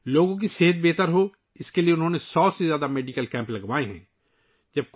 لوگوں کی صحت کو بہتر بنانے کے لیے ، انہوں نے 100 سے زائد میڈیکل کیمپس کا انعقاد کیا ہے